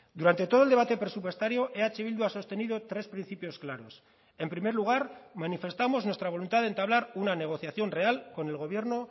durante todo el debate presupuestario eh bildu ha sostenido tres principios claros en primer lugar manifestamos nuestra voluntad de entablar una negociación real con el gobierno